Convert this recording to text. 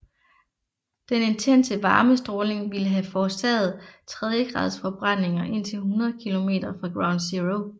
Den intense varmestråling ville have forårsaget tredjegradsforbrændinger indtil 100 km fra ground zero